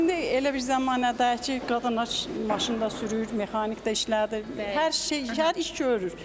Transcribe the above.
İndi elə bir zəmanədir ki, qadınlar maşın da sürür, mexanik də işlədir, hər şey, hər iş görür.